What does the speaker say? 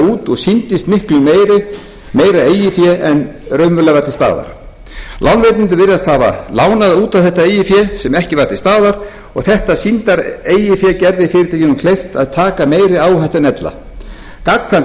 út og sýndist miklu meira eigið fé en raunverulega var til staðar lánveitendur virtust hafa lánað út á þetta eigin fé sem ekki var til staðar og þetta sýndar eigin fé gerði fyrirtækjunum kleift að taka meiri áhættu en ella gagnkvæmt